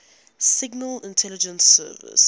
signal intelligence service